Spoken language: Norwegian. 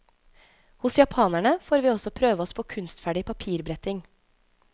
Hos japanerne får vi også prøve oss på kunstferdig papirbretting.